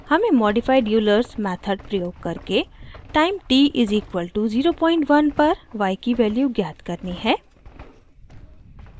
हमें modified eulers method प्रयोग करके टाइम t = 01 पर y की वैल्यू ज्ञात करनी है